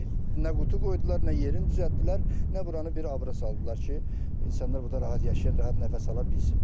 Nə qutu qoydular, nə yerin düzəltdilər, nə buranı bir abıra saldılar ki, insanlar burda rahat yaşasın, rahat nəfəs ala bilsin.